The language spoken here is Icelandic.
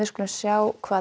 sjá hvað